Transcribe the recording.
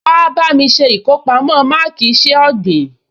Wà á bá mi ṣe ìkọpamọ́ máàkì iṣẹ́ ọ̀gbìn